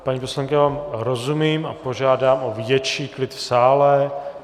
Paní poslankyně, já vám rozumím a požádám o větší klid v sále.